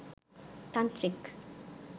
তান্ত্রিক